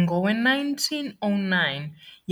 Ngowe-1909,